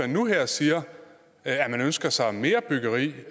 nu her og siger at man ønsker sig mere byggeri